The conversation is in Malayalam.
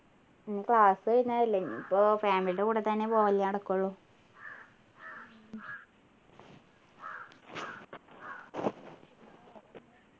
ഇനി class കഴിഞ്ഞതല്ലേ ഇനിയിപ്പോ family യുടെ കൂടെ തന്നെ പോവലേ നടക്കുള്ളൂ